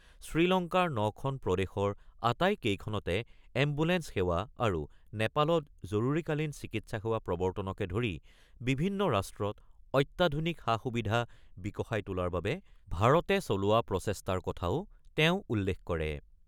শ্ৰীলংকাৰ ৯ খন প্ৰদেশৰ আটাইকেইখনতে এম্বুলেন্স সেৱা আৰু নেপালত জৰুৰীকালীন চিকিৎসা সেৱা প্ৰৱৰ্তনকে ধৰি বিভিন্ন ৰাষ্ট্ৰত অত্যাধুনিক সা-সুবিধা বিকশাই তোলাৰ বাবে ভাৰতে চলোৱা প্ৰচেষ্টাৰ কথাও তেওঁ উল্লেখ কৰে।